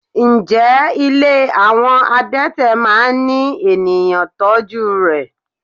Ǹjẹ́ ilé àwọn adete máa ń ní ènìyàn tọ́jú rè?